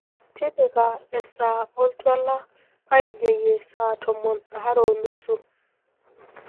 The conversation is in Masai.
tipika esaa oltuala painyoyie saa tomon aare onusu